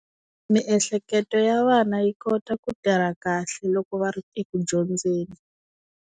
Miehleketo ya vana yi kota ku tirha kahle loko va ri eku dyondzeni.